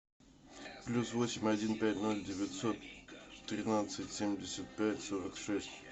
плюс восемь один пять ноль девятьсот тринадцать семьдесят пять сорок шесть